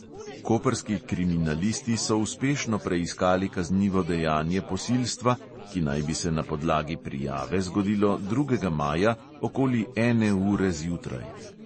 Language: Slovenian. Koprski kriminalisti so uspešno preiskali kaznivo dejanje posilstva, ki naj bi se na podlagi prijave zgodilo drugega maja okoli ene ure zjutraj.